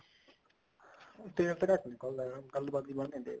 ਤੇਲ ਤਾਂ ਘੱਟ ਨਿਕਲਦਾ ਗੱਲਬਾਤ ਜੀ ਬਣ ਨੀ ਰਹੀ